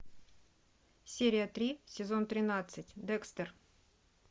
серия три сезон тринадцать декстер